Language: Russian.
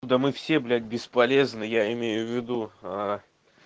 да мы все блять бесполезно я имею в виду а